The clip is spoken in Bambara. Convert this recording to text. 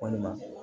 Walima